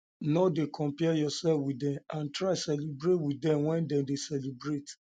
no de compare yourself with dem and try celebrate with dem when dem de celebrate